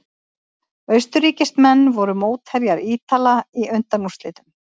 Austurríkismenn voru mótherjar Ítala í undanúrslitum.